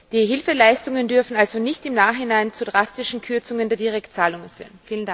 Die Hilfeleistungen dürfen also nicht im Nachhinein zu drastischen Kürzungen der Direktzahlungen führen.